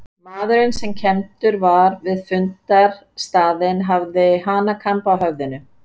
Maðurinn sem kenndur var við fundarstaðinn hafði hanakamb á höfðinu.